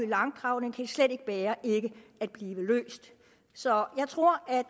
langdrag den kan slet ikke bære ikke at blive løst så jeg tror at